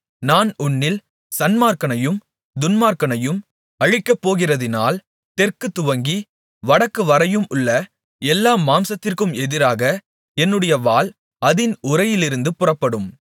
நான் உன்னில் சன்மார்க்கனையும் துன்மார்க்கனையும் அழிக்கப்போகிறதினால் தெற்கு துவக்கி வடக்குவரையும் உள்ள எல்லா மாம்சத்திற்கும் எதிராக என்னுடைய வாள் அதின் உறையிலிருந்து புறப்படும்